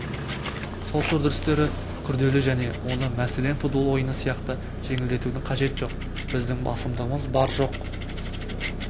сот үрдістері күрделі және оны мәселен футбол ойыны сияқты жеңілдетудің қажеті жоқ біздің басымдығымыз бар жоқ